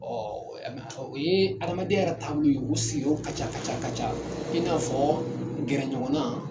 Ɔ u ye adamadenya yɛrɛ taabolo ye u sigiyɔrɔ ka ca ka ca ka ca i n'a fɔ gɛrɛɲɔgɔn na